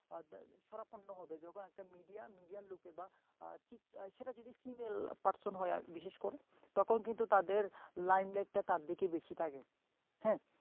শরণাপন্ন হবে একটা mideamidea র লোকের বা সেটা যদি ফিমেল পারশন হয় আরকি বিশেষ করে তখন কিন্তু তাদের lime light তার দিকেই বেশি থাকে হ্যাঁ